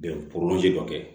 Bɛn dɔ kɛ